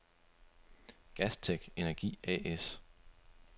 Gastech-Energi A/S